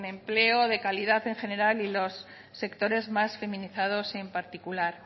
empleo de calidad en general y los sectores más feminizados en particular